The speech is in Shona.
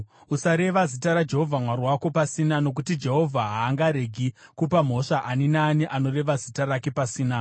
Usareva zita raJehovha Mwari wako pasina, nokuti Jehovha haangaregi kupa mhosva ani naani anoreva zita rake pasina.